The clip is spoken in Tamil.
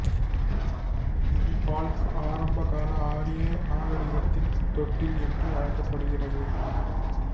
இதில் பால்க் ஆரம்பகால ஆரிய நாகரிகத்தின் தொட்டில் என்று அழைக்கப்படுகிறது